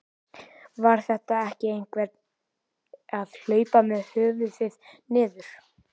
Var þetta ekki einhver að hlaupa með höfuðið niður?